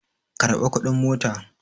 Karɓa kuɗin mota!